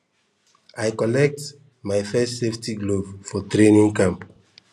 i collect my first safety glove for training camp